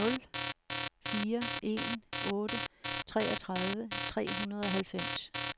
nul fire en otte treogtredive tre hundrede og halvfems